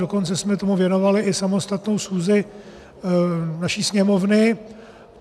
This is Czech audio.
Dokonce jsme tomu věnovali i samostatnou schůzi naší Sněmovny.